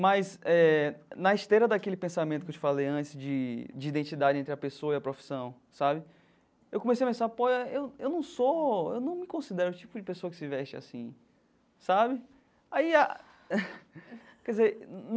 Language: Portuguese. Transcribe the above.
Mas, eh na esteira daquele pensamento que eu te falei antes de de identidade entre a pessoa e a profissão sabe, eu comecei a pensar, pô eu eu não sou, eu não me considero o tipo de pessoa que se veste assim sabe. Aí a quer dizer num.